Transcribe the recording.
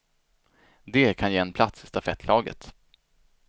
Det kan ge en plats i stafettlaget.